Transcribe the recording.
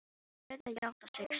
Hún verður að játa sig sigraða.